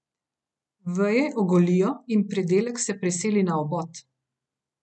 Veje ogolijo in pridelek se preseli na obod.